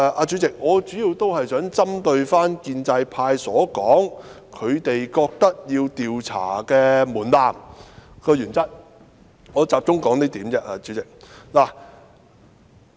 主席，我主要想針對建制派提出的一點發言，即他們認為的調查門檻和原則。